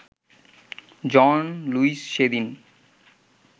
জন Lewis সেদিন